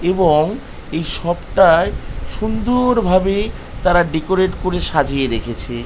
এবং এই সপ টায় সুন্দ-অ-র ভাবে তারা ডেকোরেট করে সাজিয়ে রেখেছে।